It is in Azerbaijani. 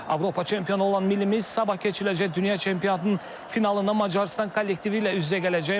Avropa çempionu olan millimiz sabah keçiriləcək Dünya Çempionatının finalında Macarıstan kollektivi ilə üz-üzə gələcək.